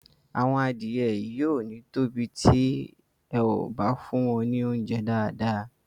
Àwọn adìẹ yìí ò ní tóbi tí e ò bá fún wọn ní óunjẹ́ dáàdáà.